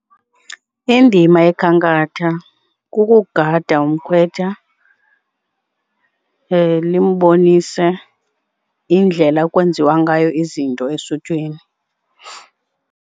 Indima yekhankatha kugada umkhwetha limbonise indlela ekwenziwa ngayo izinto esuthwini.